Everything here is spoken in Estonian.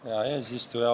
Hea eesistuja!